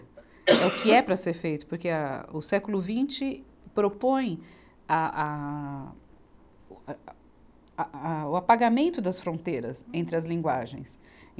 É o que é para ser feito, porque âh, o século vinte propõe a, a, o, a, a, o apagamento das fronteiras entre as linguagens.